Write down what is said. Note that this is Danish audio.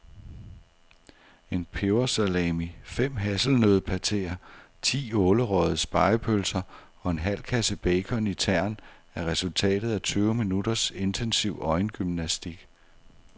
En pebersalami, fem hasselnøddepateer, ti ålerøgede spegepølser og en halv kasse bacon i tern er resultatet af tyve minutters intensiv øjengymnastik.